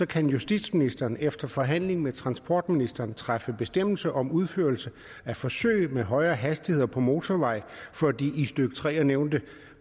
kan justitsministeren efter forhandling med transportministeren træffe bestemmelse om udførelse af forsøg med højere hastigheder på motorveje for de i stykke tre nævnte